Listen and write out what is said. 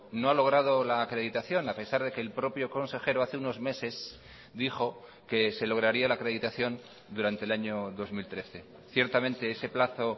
no ha logrado la acreditación a pesar de que el propio consejero hace unos meses dijo que se lograría la acreditación durante el año dos mil trece ciertamente ese plazo